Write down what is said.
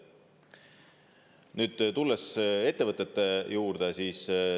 Nüüd tulen ettevõtete juurde.